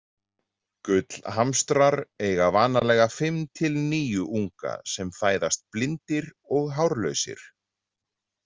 Gullhamstrar eiga vanalega fimm til níu unga sem fæðast blindir og hárlausir.